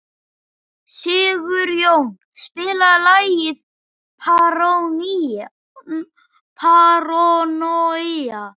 Sigurjóna, spilaðu lagið „Paranoia“.